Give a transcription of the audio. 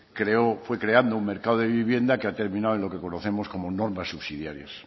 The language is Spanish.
creo o fue creando un mercado de vivienda que ha terminado en lo que conocemos como normas subsidiarias